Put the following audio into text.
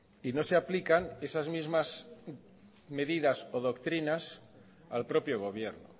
y no se aplican esas mismas medidas o doctrinas al propio gobierno